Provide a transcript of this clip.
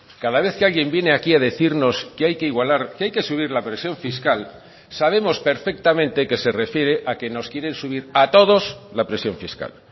cada vez que alguien viene aquí a decirnos que hay que igualar que hay que subir la presión fiscal sabemos perfectamente que se refiere a que nos quieren subir a todos la presión fiscal